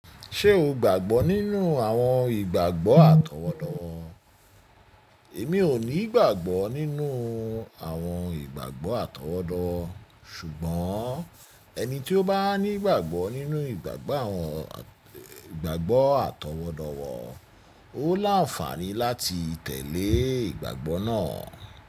Ṣé o gbàgbọ́ nínú àwọn ìgbàgbọ́ àtọwọ́dowo? Èmi ò ní ìgbàgbọ́ nínú àwọn ìgbàgbọ́ àtọwọ́dowo, ṣùgbọ́n ẹni tí ó bá ní ìgbàgbọ́ nínú ìgbàgbọ́ àwọn àwọn ìgbàgbọ́ àtọwọ́dowo, ó láǹfààní láti tẹ̀lé ìgbàgbọ́ náà.